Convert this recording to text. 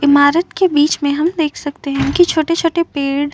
इमारत के बीच में हम देख सकते हैं की छोटे-छोटे पेड़ --